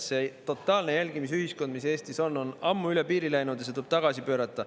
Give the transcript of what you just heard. See totaalne jälgimisühiskond, mis Eestis on, on ammu üle piiri läinud ja see tuleb tagasi pöörata.